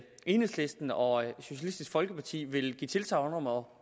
enhedslisten og socialistisk folkeparti ville give tilsagn om